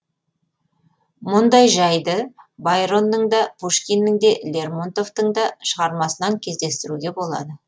мұндай жайды байронның да пушкиннің де лермонтовтың да шығармасынан кездестіруге болады